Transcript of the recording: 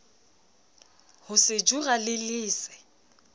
ho sejura le le se